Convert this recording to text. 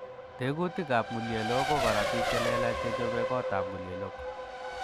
Tekutikab ng'uleyelok, ko korotik chelelach chechobe kotab ng'ulyelok.